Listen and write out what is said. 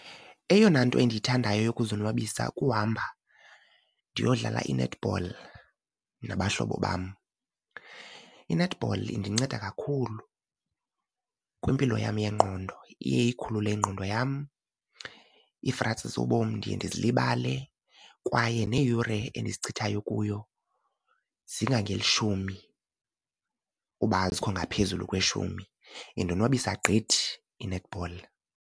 Eyona nto endiyithandayo yokuzonwabisa kuhamba ndiyodlala i-netball nabahlobo bam. I-netball indinceda kakhulu kwimpilo yam yengqondo. Iye iyikhulule ingqondo yam, iifratsi zobomi ndiye ndizilibale kwaye neeyure endizichithayo kuyo zingangeshumi uba azikho ngaphezulu kweshumi. Indonwabisa gqithi i-netball.